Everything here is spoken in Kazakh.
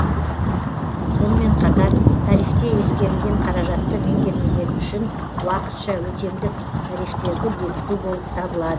сонымен қатар тарифте ескерілген қаражатты меңгермегені үшін уақытша өтемдік тарифтерді бекіту болып табылады